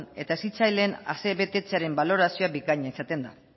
eta hezitzaileen asebetetzearen balorazio bikaina izaten da